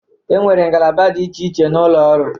Enwere ngalaba dị iche iche na ụlọ ọrụ.